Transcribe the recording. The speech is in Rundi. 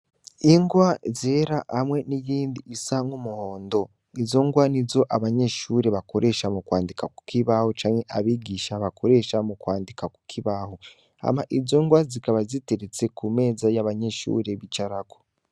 Ingwa zera hamwe niyindi isa nk'umuhondo. Izo ngwa nizo abanyeshure bakoresha mukwandika kukibaho canke abigisha bakoresha mukwandika kukibaho. Hama izo ngwa zikaba ziteretse kumeza abanyeshure bicarako.